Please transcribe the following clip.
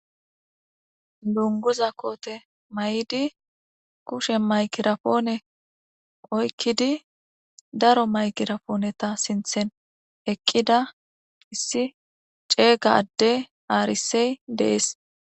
Dunguza kote mayidi kusheni mayikara pone oyikidi darro mayikiraponeta sintheni eqidda issi cega ade arise desi.